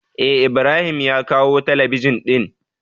Eh ibrahim ya kawo talabijin din.